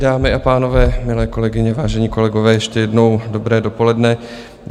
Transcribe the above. Dámy a pánové, milé kolegyně, vážení kolegové, ještě jednou dobré dopoledne.